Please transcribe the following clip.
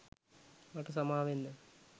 මට සමාවෙන්න